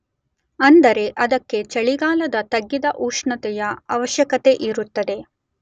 ಅಂದರೆ ಅದಕ್ಕೆ ಚಳಿಗಾಲದ ತಗ್ಗಿದ ಉಷ್ಣತೆಯ ಆವಶ್ಯಕತೆಯಿರುತ್ತದೆ.